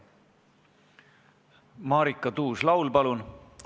Marika Tuus-Laul, palun!